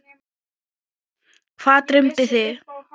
Hvað dreymdi þig?